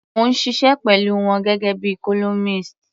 Mò ń ṣiṣẹ́ pẹ̀lú wọn gẹ́gẹ́ bíi columnist.